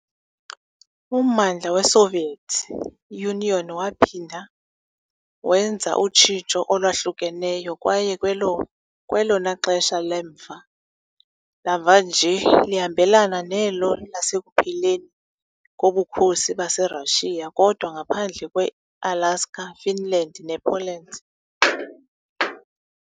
Ummandla weSoviet Union waphinda wenza utshintsho olwahlukeneyo kwaye kwelona xesha lemva lamva nje lihambelana nelo lasekupheleni koBukhosi baseRussia, kodwa ngaphandle kweAlaska, iFinland nePoland .